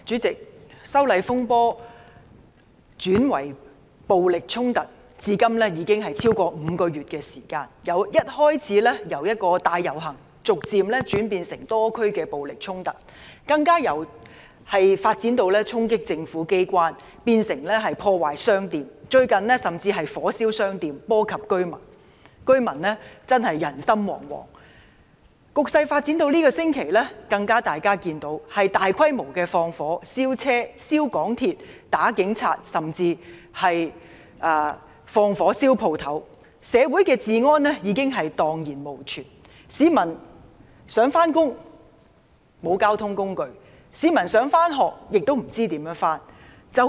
主席，修例風波轉化為暴力衝突至今已持續超過5個月，由最初的大遊行逐漸演變成多區的暴力衝突，更由衝擊政府機關進而演變成破壞商店，最近甚至有人放火燒鋪，波及居民，致令人心惶惶。大家可見，局勢發展至今個星期，已出現大規模縱火及毆打警察的情況，社會治安已蕩然無存。市民想上班，但沒有交通工具；學生想上學，亦不知道如何上學。